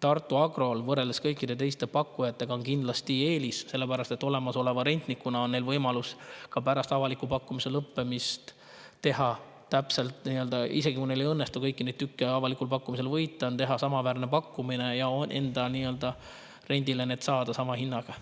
Tartu Agrol on võrreldes kõikide teiste pakkujatega kindlasti eelis, sellepärast et praeguse rentnikuna on neil võimalus ka pärast avaliku pakkumise lõppemist teha – isegi kui neil ei õnnestu kõiki neid tükke avalikul pakkumisel võita – täpselt samaväärne pakkumine ja saada need rendile sama hinnaga,.